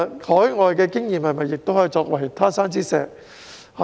海外的經驗是否也能作為"他山之石"？